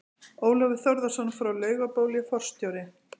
Ólafur Þórðarson frá Laugabóli, forstjóri